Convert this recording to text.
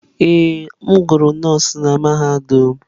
Ee, m gụrụ nọọsụ na mahadum.